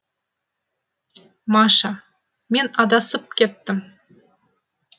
маша мен адасып кеттім